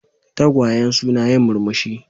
Tagwayen suna yin murmushi.